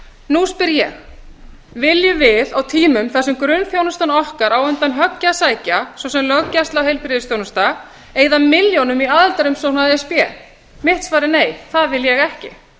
nú spyr ég viljum við á tímum þar sem grunnþjónusta okkar á undir högg að sækja svo sem löggæsla og heilbrigðisþjónusta eyða milljónum í aðildarumsókn að e s b mitt svar er nei það vil ég ekki